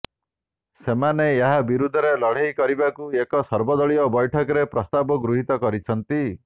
ସେମାନେ ଏହା ବିରୁଦ୍ଧରେ ଲଢେଇ କରିବାକୁ ଏକ ସର୍ବାଦଳୀୟ ବୈଠକରେ ପ୍ରସ୍ତାବ ଗୃହିତ କରିଛନ୍ତି